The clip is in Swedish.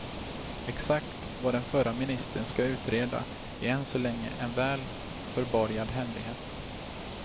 Exakt vad den förra ministern ska utreda är än så länge en väl förborgad hemlighet.